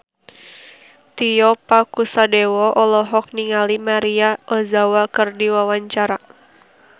Tio Pakusadewo olohok ningali Maria Ozawa keur diwawancara